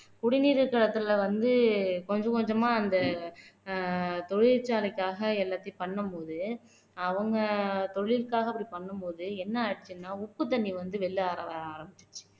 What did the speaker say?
குடிநீர் தரத்துல வந்து கொஞ்சம் கொஞ்சமா அந்த அஹ் தொழிற்சாலைக்காக எல்லாத்தையும் பண்ணும் போது அவங்க தொழிலுக்காக அப்படி பண்ணும் போது என்ன ஆச்சுன்னா உப்பு தண்ணி வந்து வெளியில வர ஆரம்பிச்சிருச்சு